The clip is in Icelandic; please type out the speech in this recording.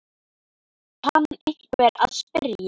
kann einhver að spyrja.